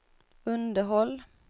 underhåll